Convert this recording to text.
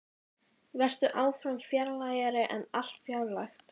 Vertu áfram fjarlægari en allt fjarlægt.